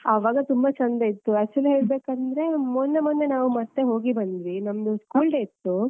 ಆವಾಗ ತುಂಬಾ ಚಂದ ಇತ್ತು. Actually ಹೇಳ್ಬೇಕಂದ್ರೆ ಮೊನ್ನೆ ಮೊನ್ನೆ ನಾವು ಮತ್ತೆ ಹೋಗಿ ಬಂದ್ವಿ. ನಮ್ದು school day ಇತ್ತು.